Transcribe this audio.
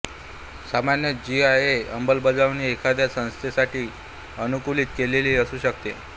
सामान्यत जीआयएस अंमलबजावणी एखाद्या संस्थेसाठी सानुकूलित केलेली असू शकते